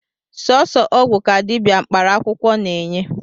Sọsọ ọgwụ ka dịbịa mkparaakwụkwọ na-eney